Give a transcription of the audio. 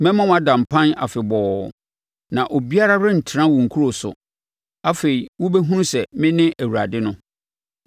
Mɛma wada mpan afebɔɔ, na obiara rentena wo nkuro so. Afei, wobɛhunu sɛ mene Awurade no.